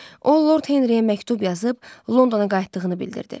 O, Lord Henriyə məktub yazıb Londona qayıtdığını bildirdi.